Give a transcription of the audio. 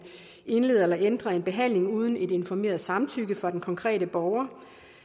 indleder eller ændrer en behandling uden et informeret samtykke fra den konkrete borger